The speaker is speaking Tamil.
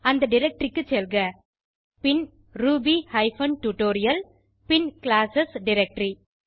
அந்த டைரக்டரி க்கு செல்க பின் ரூபி ஹைபன் டியூட்டோரியல் பின் கிளாஸ் டைரக்டரி